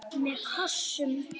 Með kossum.